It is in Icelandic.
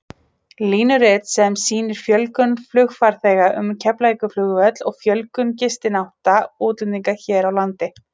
Línurit sem sýnir fjölgun flugfarþega um Keflavíkurflugvöll og fjölgun gistinátta útlendinga hér á landi.